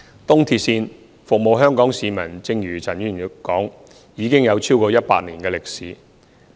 東鐵線服務香港市民，正如陳議員說已有超過100年歷史。